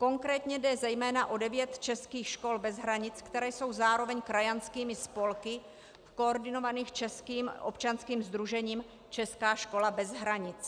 Konkrétně jde zejména o devět českých škol bez hranic, které jsou zároveň krajanskými spolky, koordinovaných českým občanským sdružením Česká škola bez hranic.